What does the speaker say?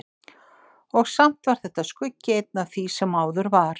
Og samt var þetta skuggi einn af því sem áður var.